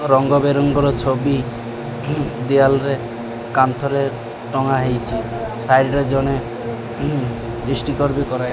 ରଙ୍ଗ ବେରଙ୍ଗର ଛବି ୱାଲ ରେ କାନ୍ଥରେ ଟଙ୍ଗା ହେଇଚି। ସାଇଟ ରେ ଜଣେ --